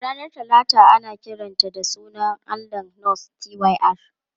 Ranar Talata ana kiranta da sunan allahn Norse Tyr.